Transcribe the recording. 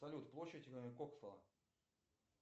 салют площадь коксала